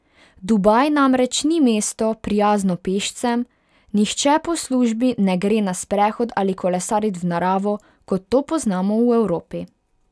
Dubaj namreč ni mesto, prijazno pešcem, nihče po službi ne gre na sprehod ali kolesarit v naravo, kot to poznamo v Evropi.